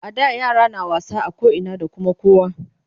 A da yara na wasa a koina da Kuma kowa